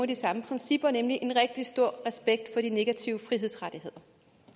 de samme principper nemlig en rigtig stor respekt for de negative frihedsrettigheder